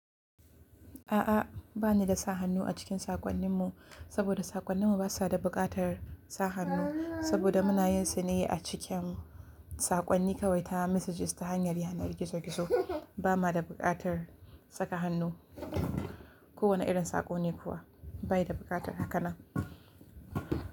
A'a, ba ni da sa hannu a cikin saƙonninmu saboda saƙonninmu ba su da buƙatar sa hannu. Saboda muna yin sune a cikin saƙonni, kawai tana messages ta hanyar yanar gizo gizo. Ba ma da buƙatar saka hannu. Kowane irin saƙo ne kuwa bai da buƙatar haka nan.